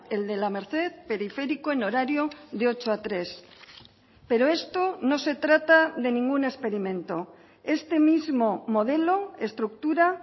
el de la merced periférico en horario de ocho a tres pero esto no se trata de ningún experimento este mismo modelo estructura